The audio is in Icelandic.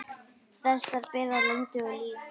Þessar bera lönd og lýð.